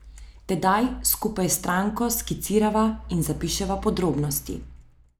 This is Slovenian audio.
Tedaj skupaj s stranko skicirava in zapiševa podrobnosti ...